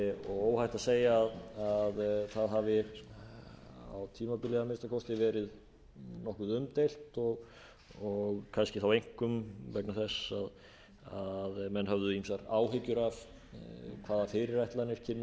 og óhætt að segja að það hafi á tímabili að minnsta kosti verið nokkuð umdeilt og kannski þá einkum vegna þess að menn höfðu ýmsar áhyggjur af hvaða fyrirætlanir kynnu að liggja hér